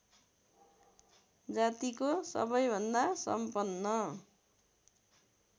जातिको सबैभन्दा सम्पन